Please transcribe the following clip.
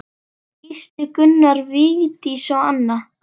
Gísli, Gunnar, Vigdís og Anna.